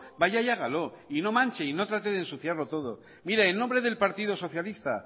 vaya y hágalo y no manche y no trate de ensuciarle todo mire en nombre del partido socialista